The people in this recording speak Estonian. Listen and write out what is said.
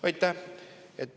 Aitäh!